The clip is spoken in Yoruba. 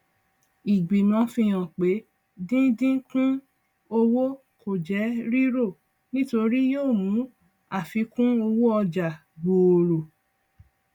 ìgbìmọ fi hàn pé díndínkún owó kò jẹ rírò nítorí yóò mú àfikúnowóọjà gbòòrò